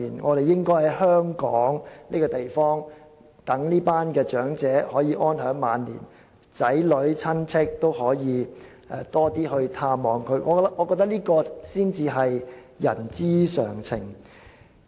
當局應該讓這些長者在香港安享晚年，鼓勵他們的子女和親戚多些探望，我認為這才是人之常情。